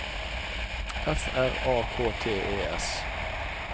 F R A K T E S